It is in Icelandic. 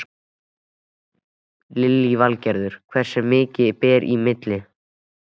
Lillý Valgerður: Hversu mikið ber í milli?